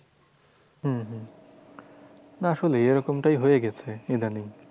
হম হম না আসলে এরকমটাই হয়ে গেছে ইদানিং।